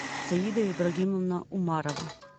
саида ибрагимовна умарова